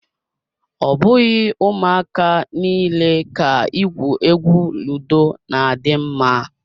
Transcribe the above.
Ọ bụghị ụmụaka niile ka igwu egwu ludo na adị mma.